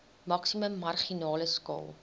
maksimum marginale skaal